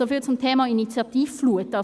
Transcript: Soviel zum Thema «Initiativenflut».